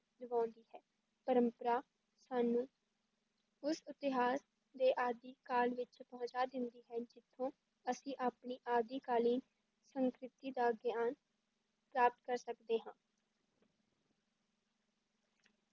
ਦਿਵਾਉਂਦੀ ਹੈ, ਪਰੰਪਰਾ ਸਾਨੂੰ ਉਸ ਇਤਿਹਾਸ ਦੇ ਆਦਿ ਕਾਲ ਵਿੱਚ ਪਹੁੰਚਾ ਦਿੰਦੀ ਹੈ, ਜਿੱਥੋਂ ਅਸੀਂ ਆਪਣੀ ਆਦਿਕਾਲੀਨ ਸੰਸ਼ਕ੍ਰਿਤੀ ਦਾ ਗਿਆਨ ਪ੍ਰਾਪਤ ਕਰ ਸਕਦੇ ਹਾਂ।